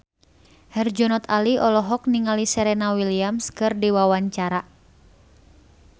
Herjunot Ali olohok ningali Serena Williams keur diwawancara